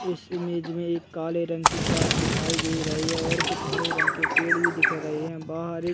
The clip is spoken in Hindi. इस इमेज में एक काले रंग की कार दिखाई दे रही है और कुछ हरे रंग के पेड़ भी दिख रहे है बाहर एक --